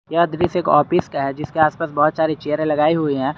यह दृश्य एक ऑफिस का है जिसके आस पास बहोत सारी चेयरे लगाई हुई है।